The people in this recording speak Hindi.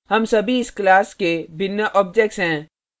हम सभी इस class के भिन्न objects हैं